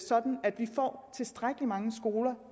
sådan at vi får tilstrækkelig mange skoler